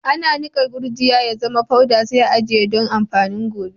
Ana iya nikan gurjiya ya zama poda sai a'ajie doan amfanin gobe.